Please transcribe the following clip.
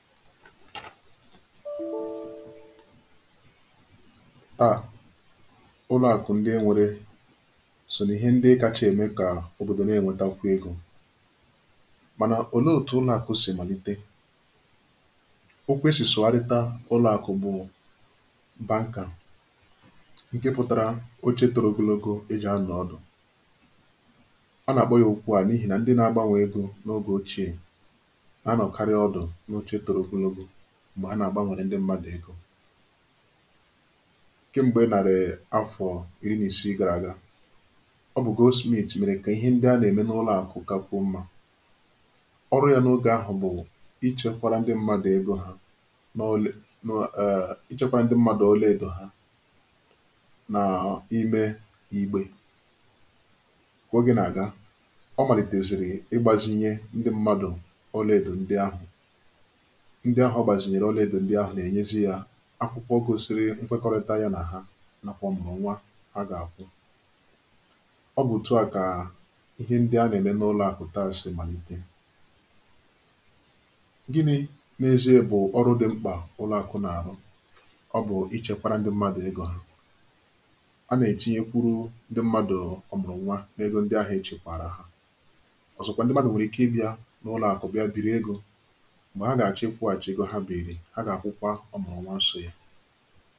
ụlọ̀àkụ̀ ndi e nwērē sò n’ihe ndi kacha ème kà òbòdò nà-ènwetakwu egō mànà òlee òtù ụlọ̀àkụ̀ sì màlite okwu e sì sụgharita ụlọ̀àkụ̀ bụ̀ banker ǹke pụtara oche toro ogologo è jì anọ̀ ọdụ̀ à nà-àkpọ ya okwu à n’ihì nà ndi nà-agbanwè egō n’ogè ochiè nà-anọ̀karị ọdụ̀ n’oche toro ogologo m̀gbè ha nà-àgbanwère ndi mmādụ̀ egō kemgbè nàrị̀ afọ̀ ìri nà ìsii gàrà àga ọ bụ̀ Goldsmith mèrè kà ihe ndi à nà-ème n’ụlọ̀àkụ̀ kakwuò mmā ọrụ yā n’ogè ahụ̀ bụ̀ ichēkwārā ndi mmadụ̀ egō ha nà ichēkwārā ndi mmadụ̀ ọlàèdò ha n’ime ígbē kà ogè nà-àga ọ màlìtèzìrì ịgbāzinye ndi mmadụ̀ ọlàèdò ndi ahụ̀ ndi ahụ̀ ọgbazinyere ọlàèdò ndi ahụ̀ nà-ènyezi ya akwụkwọ gosiri nkwekọrịta ya nà hà nàkwà ọ̀mụ̀rụ̀nwa ha gà-àkwụ ọ bụ̀ òtù a kà ihe ndi a nà-ème n’ụlọ̀àkụ̀ taa sì màlite ginī n’ezìe bụ̀ ọrụ dịmkpà ụlọ̀àkụ̀ nà-àrụ ọ bụ̀ ichēkwārā ndi mmadụ̀ egō ha a nà-ètinyekwuru ndi mmadụ̀ ọ̀mụ̀rụ̀nwa n’egō ndi ahụ̀ echèkwààrà ha ọ̀zọkwa ndi mmadụ̀ nwèrè ike ịbịā n’ụlọ̀àkụ̀ bị̀a bìri egō m̀gbè ha gà-àchọ ikwụ̄hàchì egō ha bììrì ha gà-àkwụkwa ọ̀mụ̀rụ̀nwa sò ya